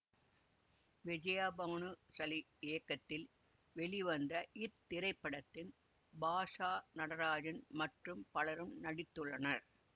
விஜயா பவனு சலி இயக்கத்தில் வெளிவந்த இத்திரைப்படத்தில் பாஷா நடராஜன் மற்றும் பலரும் நடித்துள்ளனர்